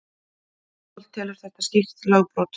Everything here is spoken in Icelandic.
Adolf telur þetta skýrt lögbrot.